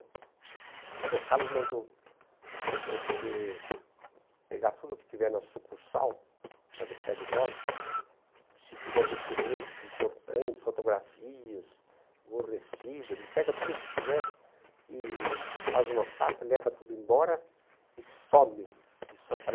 O doutor Carlos mandou você pegar tudo o que tiver na sucursal, lá do Prédio Glória, se tiver documentos importantes, fotografias, o recibo, ele pega tudo o que tiver e faz uma pasta, leva tudo embora e some de São Paulo.